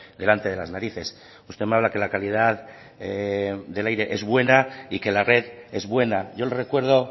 delante de las narices usted me habla que la calidad del aire es buena y que la red es buena yo le recuerdo